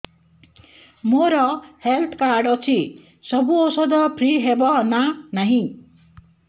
ମୋର health card ଅଛି ସବୁ ଔଷଧ ଫ୍ରି ହବ ନା ନାହିଁ